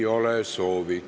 Ei ole soovi.